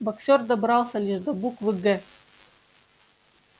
боксёр добрался лишь до буквы г